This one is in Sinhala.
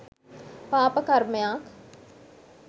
පාප කර්මයක්